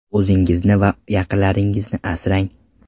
O‘zingizni va o‘z yaqinlaringizni asrang!